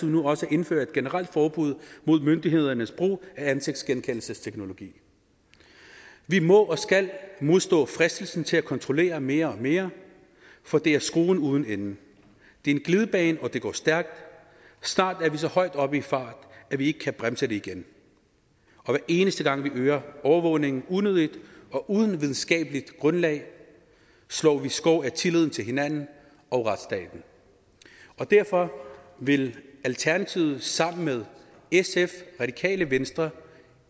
nu også at indføre et generelt forbud mod myndighedernes brug af ansigtsgenkendelsesteknologi vi må og skal modstå fristelsen til at kontrollere mere og mere for det er skruen uden ende det er en glidebane og det går stærkt snart er vi så højt oppe i fart at vi ikke kan bremse det igen og hver eneste gang vi øger overvågningen unødigt og uden videnskabeligt grundlag slår vi skår i tilliden til hinanden og retsstaten derfor vil alternativet sammen med sf radikale venstre